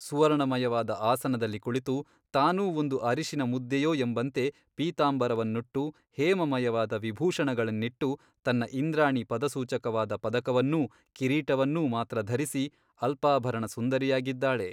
ಸುವರ್ಣಮಯವಾದ ಆಸನದಲ್ಲಿ ಕುಳಿತು ತಾನೂ ಒಂದು ಅರಿಶಿನ ಮುದ್ದೆಯೋ ಎಂಬಂತೆ ಪೀತಾಂಬರವನ್ನುಟ್ಟು ಹೇಮಮಯವಾದ ವಿಭೂಷಣಗಳನ್ನಿಟ್ಟು ತನ್ನ ಇಂದ್ರಾಣಿ ಪದಸೂಚಕವಾದ ಪದಕವನ್ನೂ ಕಿರೀಟವನ್ನೂ ಮಾತ್ರ ಧರಿಸಿ ಅಲ್ಪಾಭರಣ ಸುಂದರಿ ಯಾಗಿದ್ದಾಳೆ.